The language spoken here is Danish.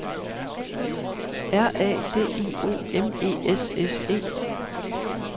R A D I O M E S S E